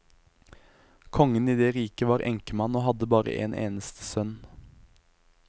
Kongen i det riket var enkemann og hadde bare en eneste sønn.